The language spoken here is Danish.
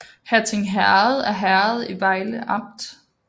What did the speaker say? Hatting Herred er herred i Vejle Amt